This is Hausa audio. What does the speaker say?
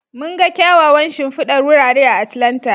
Mun ga kyawawan shimfidar wurare a Atlanta.